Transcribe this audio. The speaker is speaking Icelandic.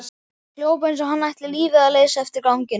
Hljóp eins og hann ætti lífið að leysa eftir ganginum.